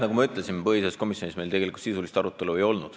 Nagu ma ütlesin, põhiseaduskomisjonis meil tegelikult sisulist arutelu ei olnud.